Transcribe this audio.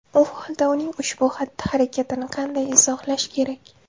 U holda uning ushbu xatti-harakatini qanday izohlash kerak?